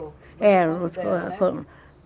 é